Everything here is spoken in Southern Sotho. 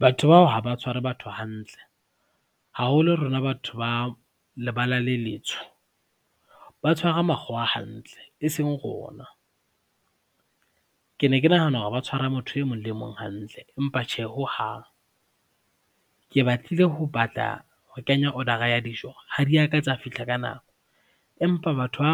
Batho bao ha ba tshware batho hantle, haholo rona batho ba lebala le letsho, ba tshwara makgowa a hantle e seng rona. Ke ne ke nahana hore ba tshwara motho e mong le mong hantle empa tjhe hohang. Ke batlile ho batla ho kenya order-ra ya dijo, ha di a ka tsa fihla ka nako empa batho ba